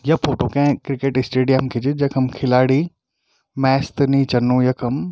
या फोटो कै cricket stadium की च जखम खिलाडी मैच त नी चलणु यखम।